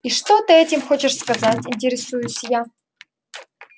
и что ты этим хочешь сказать интересуюсь я